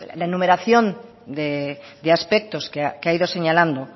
la enumeración de aspectos que ha ido señalando